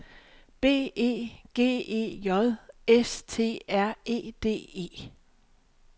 B E G E J S T R E D E